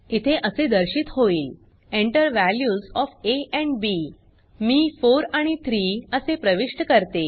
इथे असे दर्शित होईल Enter values of A and B मी 4 आणि 3 असे प्रविष्ट करते